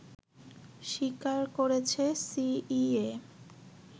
স্বীকার করেছে সিইএ